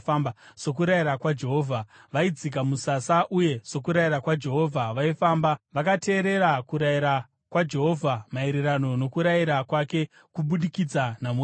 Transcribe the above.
Sokurayira kwaJehovha, vaidzika musasa, uye sokurayira kwaJehovha, vaifamba. Vakateerera kurayira kwaJehovha, maererano nokurayira kwake kubudikidza naMozisi.